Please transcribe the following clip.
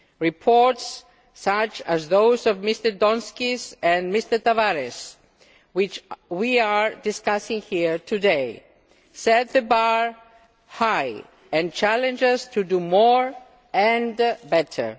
Reports, such as those by Mr Donskis and Mr Tavares, which we are discussing here today, set the bar high and challenge us to do more and better.